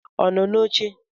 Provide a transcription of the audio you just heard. Ọ nọ n'oche?